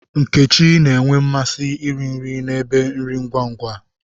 Nkechi n'nwe na-amasị iri nri na n'ebe nri ngwa ngwa.